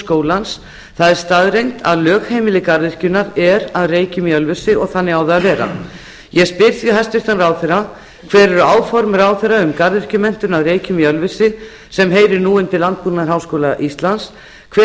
skólans það er staðreynd að lögheimili garðyrkjunnar er að reykjum í ölfusi og þannig á það að vera ég spyr því hæstvirtur ráðherra hver eru áform ráðherra um garðyrkjumenntun að reykjum í ölfusi sem heyrir nú undir landbúnaðarháskóla íslands hver